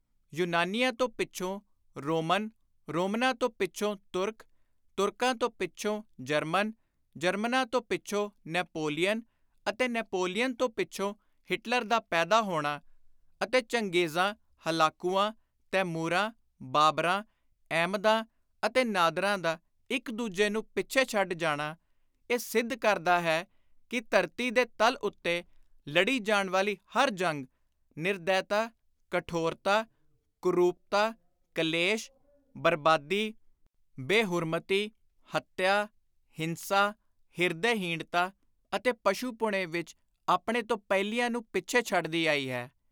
ਯੁਨਾਨੀਆਂ ਤੋਂ ਪਿੱਛੋਂ ਰੋਮਨ, ਰੋਮਨਾਂ ਤੋਂ ਪਿੱਛੋਂ ਤੁਰਕ, ਤੁਰਕਾਂ ਤੋਂ ਪਿੱਛੋਂ ਜਰਮਨ, ਜਰਮਨਾਂ ਤੋਂ ਪਿੱਛੋਂ ਨੈਪੋਲੀਅਨ ਅਤੇ ਨੈਪੋਲੀਅਨ ਤੋਂ ਪਿੱਛੋਂ ਹਿਟਲਰ ਦਾ ਪੈਦਾ ਹੋਣਾ ਅਤੇ ਚੰਗੇਜ਼ਾਂ, ਹਲਾਕੁਆਂ, ਤੈਮੁਰਾਂ, ਬਾਬਰਾਂ, ਅਹਿਮਦਾਂ ਅਤੇ ਨਾਦਰਾਂ ਦਾ ਇਕ ਦੁਜੇ ਨੂੰ ਪਿੱਛੇ ਛੱਡ ਜਾਣਾ ਇਹ ਸਿੱਧ ਕਰਦਾ ਹੈ ਕਿ ਧਰਤੀ ਦੇ ਤਲ ਉੱਤੇ ਲੜੀ ਜਾਣ ਵਾਲੀ ਹਰ ਜੰਗ ਨਿਰਦੈਤਾ, ਕਠੋਰਤਾ, ਕੁਰੁਪਤਾ, ਕਲੇਸ਼, ਬਰਬਾਦੀ, ਬੇ-ਹੁਰਮਤੀ, ਹੱਤਿਆ, ਹਿੰਸਾ, ਹਿਰਦੇ-ਹੀਣਤਾ ਅਤੇ ਪਸ਼ੁ-ਪੁਣੇ ਵਿਚ ਆਪਣੇ ਤੋਂ ਪਹਿਲੀਆਂ ਨੂੰ ਪਿੱਛੇ ਛੱਡਦੀ ਆਈ ਹੈ।